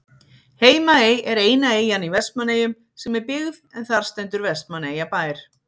Heimaey er eina eyjan í Vestmannaeyjum sem er byggð en þar stendur Vestmannaeyjabær.